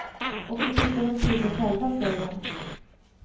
Och så fipplar de till det själva, säger han.